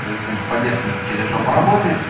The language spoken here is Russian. то есть поддержка у них через жопу работает